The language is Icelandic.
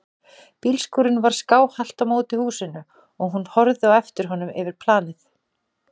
Bílskúrinn var skáhallt á móti húsinu og hún horfði á eftir honum yfir planið.